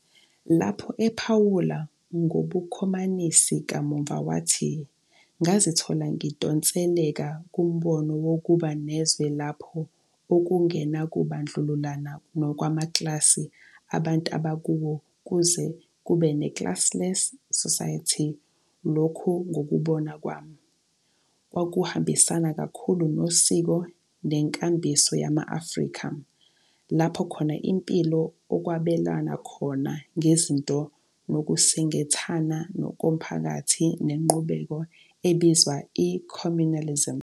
Lapho ephawula ngobukhomanisi, kamuva wathi, "ngazithola ngidonseleka kumbono wokuba nezwe lapho okungenakubandlululana nokwamaklasi abantu abakuwo ukuze kube ne-classless society lokhu ngokubona kwami, kwakuhambisana kakhulu nosiko nenkambiso yama-Afrika, lapho khona impilo okwabelwana khona ngezinto nokusingathana komphakathi ngenqubo ebizwa i-communalism."